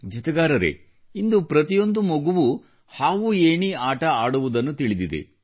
ಜತೆಗಾರರೇ ಇಂದು ಪ್ರತಿಯೊಂದು ಮಗುವೂ ಹಾವುಏಣಿ ಆಟವನ್ನು ಆಡುವುದನ್ನು ತಿಳಿದಿದೆ